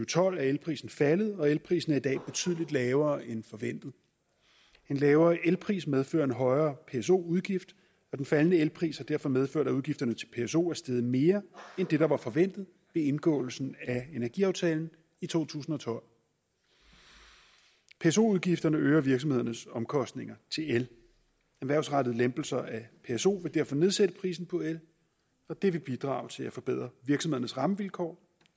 tolv er elprisen faldet og elprisen er i dag betydelig lavere end forventet en lavere elpris medfører en højere pso udgift og den faldende elpris har derfor medført at udgifterne til pso er steget mere end det der var forventet ved indgåelsen af energiaftalen i to tusind og tolv pso udgifterne øger virksomhedernes omkostninger til el erhvervsrettede lempelser af pso vil derfor nedsætte prisen på el og det vil bidrage til at forbedre virksomhedernes rammevilkår